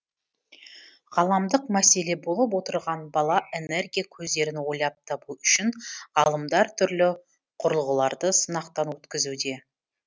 ғаламдық мәселе болып отырған бала энергия көздерін ойлап табу үшін ғалымдар түрлі қүрылғыларды сынақтан өткізуде